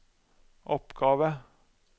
oppgave